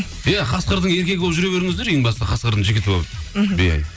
иә қасқырдың еркегі болып жүре беріңіздер ең басты қасқырдың жігіті болып мхм иә